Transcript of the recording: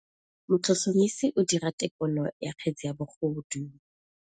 Motlhotlhomisi o dira têkolô ya kgetse ya bogodu.